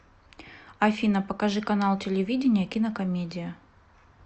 афина покажи канал телевидения кинокомедия